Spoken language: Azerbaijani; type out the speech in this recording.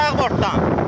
Sağ bortdan.